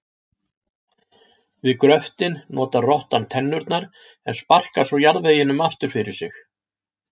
Við gröftinn notar rottan tennurnar en sparkar svo jarðveginum aftur fyrir sig.